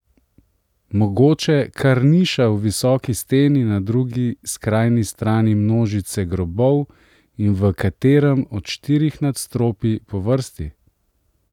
Mogoče kar niša v visoki steni na drugi skrajni strani množice grobov in v katerem od štirih nadstropij po vrsti?